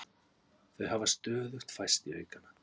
Þau hafa stöðugt færst í aukana